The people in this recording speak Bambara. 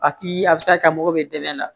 A ti a bɛ se ka kɛ mako bɛ dɛmɛ na